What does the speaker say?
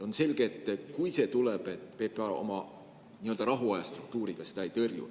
On selge, et kui see tuleb, siis PPA oma nii-öelda rahuajastruktuuriga seda ei tõrju.